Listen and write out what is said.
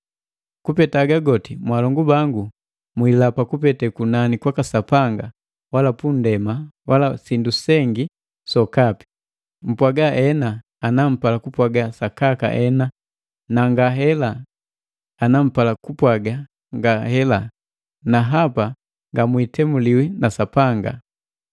Kupeta haga goti, mwaalongu bangu, mwiilapa kupete kunani kwaka Sapanga, wala pundema wala sindu sengi sokapi. Mpwaga, “Ena” ana mpala kupwaga sakaka ena na “Ngahela” ana mpala kupwaga ngahela, na hapa ngamwiitemuliwi na Sapanga.